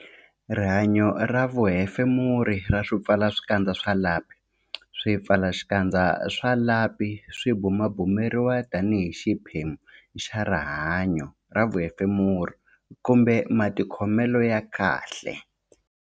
Rihanyo ra vuhefemuri ra swipfalaxikandza swa lapi Swipfalaxikandza swa lapi swi bumabumeriwa tanihi xiphemu xa rihanyo ra vuhefemuri kumbe matikhomelo ya kahle.